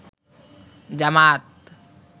জামাত